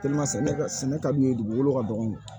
sɛnɛ ka d'u ye dugukolo ka dɔgɔ